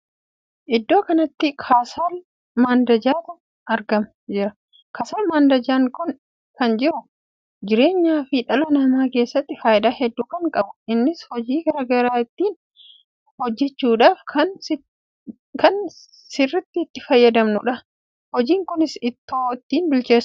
Iddoo kanatti kasal mandajaatu argamaa jira. kasal mandajaan kun jiruu fi jireenya ilma namaa keessatti faayidaa hedduu kan qabudha. innis hojii garaagaraa ittiin hojjechuudhaaf kan sitti nama fayyaduudha. hojiin kunis ittoo ittiin hojjedhaa fi buna itti danfiisuudhaaf kan fayyaduudha.